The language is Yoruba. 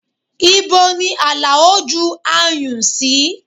Ibo ni Alao ju ayùn sí?